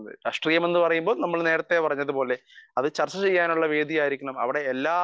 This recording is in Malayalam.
സ്പീക്കർ 1 രാഷ്ട്രീയം എന്ന് പറയുമ്പോൾ നമ്മൾ നേരെത്തെ പറഞ്ഞത് പോലെ അത് ചർച്ച ചെയ്യാനുള്ള വേദി ആയിരിക്കണം അവിടെ എല്ലാ